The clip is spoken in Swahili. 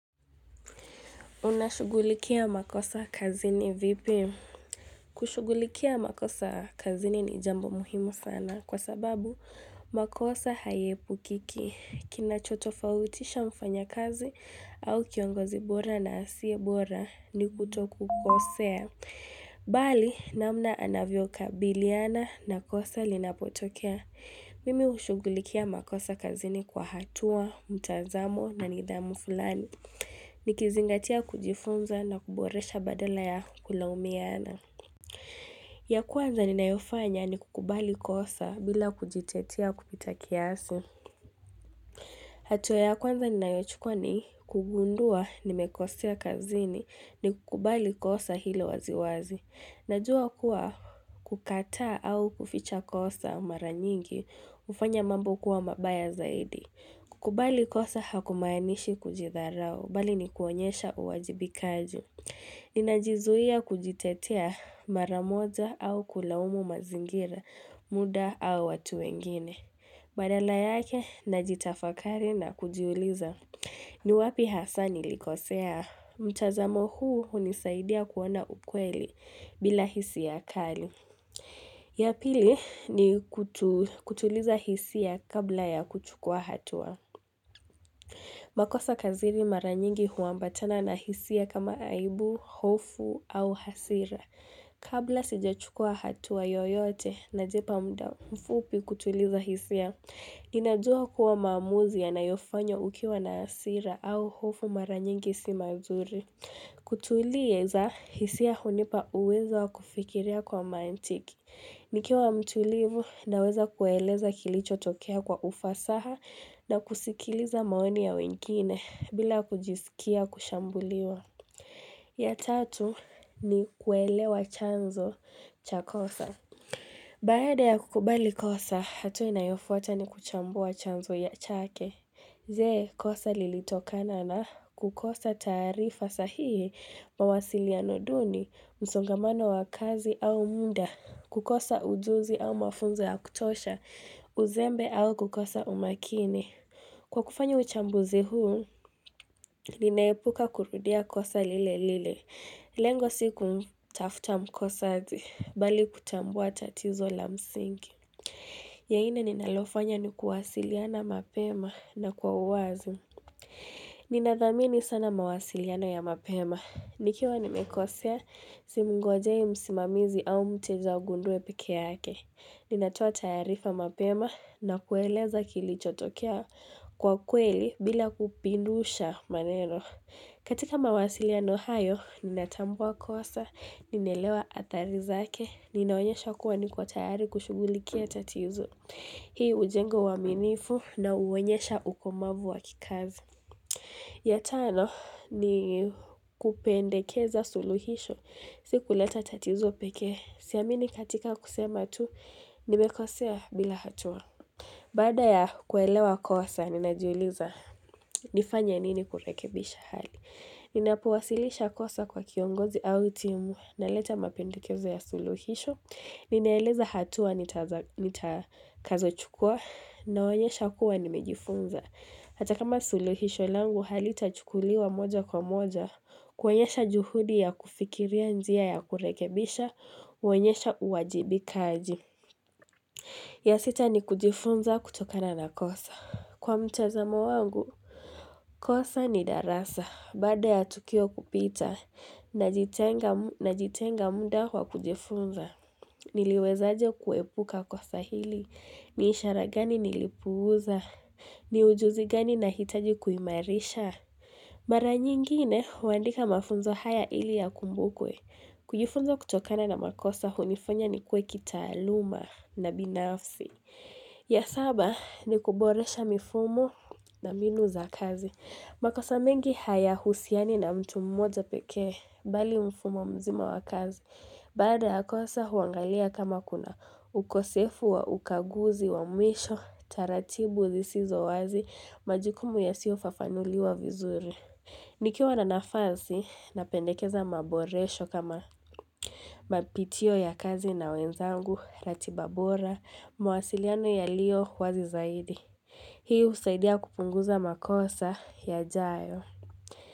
Unashugulikia makosa kazini vipi? Kushugulikia makosa kazini ni jambo muhimu sana kwa sababu makosa hayaepukiki. Kinacho tofautisha mfanya kazi au kiongozi bora na asiye bora ni kutokukosea. Bali namna anavyokabiliana na kosa linapotokea. Mimi hushugulikia makosa kazini kwa hatua, mtazamo na nidhamu fulani. Nikizingatia kujifunza na kuboresha badala ya kulaumiana. Ya kwanza ninayofanya ni kukubali kosa bila kujitetea kupita kiasi hatua ya kwanza ninayochukwa ni kugundua nimekosea kazini ni kukubali kosa hilo waziwazi Najua kuwa kukataa au kuficha kosa mara nyingi hufanya mambo kuwa mabaya zaidi kukubali kosa hakumaanishi kujidharau, bali ni kuonyesha uwajibikaji. Ninajizuia kujitetea mara moja au kulaumu mazingira, muda au watu wengine. Badala yake, najitafakari na kujiuliza. Ni wapi hasa nilikosea? Mtazamo huu hunisaidia kuona ukweli bila hisia ya kali. Ya pili ni kutuliza hisia kabla ya kuchukua hatua. Makosa kazini mara nyingi huambatana na hisia kama aibu, hofu au hasira. Kabla sijachukua hatua yoyote na jipa muda mfupi kutuliza hisia, inajua kuwa mamuzi yanayofanywa ukiwa na hasira au hofu mara nyingi si mazuri. Kutulieza, hisia hunipa uweza wa kufikiria kwa mantiki. Nikiwa mtulivu na weza kueleza kilicho tokea kwa ufasaha na kusikiliza maoni ya wengine bila kujisikia kushambuliwa. Ya tatu ni kuelewa chanzo cha kosa. Baada ya kukubali kosa, hatua inayofuata ni kuchambua chanzo ya chake. Je kosa lilitokana na kukosa taarifa sahihibmawasiliano duni, msongamano wa kazi au muda, kukosa ujuzi au mafunzo ya kutosha, uzembe au kukosa umakini. Kwa kufanya uchambuzi huu, linaepuka kurudia kosa lile lile. Lengo sikumtafuta mkosaji, bali kutambua tatizo la msingi. Ya nne ninalofanya ni kuwasiliana mapema na kwa uwazi. Ninathamini sana mawasiliano ya mapema. Nikiwa nimekosea, si mgojei msimamizi au mteja agundue peke yake. Ninatoa taarifa mapema na kueleza kilichotokea kwa kweli bila kupindusha maneno. Katika mawasiliano hayo, ninatambua kosa, ninaelewa athari zake. Ninaonyesha kuwa niko tayari kushugulikia tatizo. Hii hujenga uwaminifu na huonyesha ukomavu wakikazi. Ya tano ni kupendekeza suluhisho. Sikuleta tatizo pekee. Si amini katika kusema tu nimekosea bila hatua. Baada ya kuelewa kosa, ninajiuliza nifanye nini kurekebisha hali. Ninapowasilisha kosa kwa kiongozi au timu na leta mapendekezo ya suluhisho. Ninaeleza hatua nitakazo chukua na onyesha kuwa nimejifunza. Hata kama suluhisho langu halitachukuliwa moja kwa moja. Kuonyesha juhudi ya kufikiria njia ya kurekebisha huonyesha uwajibikaji. Ya sita ni kujifunza kutokana na kosa. Kwa mtazamo wangu, kosa ni darasa. Baada ya tukio kupita, najitenga muda wa kujifunza. Niliweza aje kuepuka kosa hili, ni ishara gani nilipuuza, ni ujuzi gani na hitaji kuimarisha. Mara nyingine, huandika mafunzo haya ili yakumbukwe. Kujifunza kutokana na makosa hunifanya nikuwe kitaaluma na binafsi. Ya saba, ni kuboresha mifumo na mbinu za kazi. Makosa mengi haya husiani na mtu mmoja pekee, bali mfumo mzima wa kazi. Baada ya kosa huangalia kama kuna ukosefu wa ukaguzi wa mwisho, taratibu zisizo wazi, majukumu yasiofafanuliwa vizuri. Nikiwa na nafansi, napendekeza maboresho kama mapitio ya kazi na wenzangu, ratiba bora, mawasiliano yalio wazi zaidi. Hii husaidia kupunguza makosa yajayo.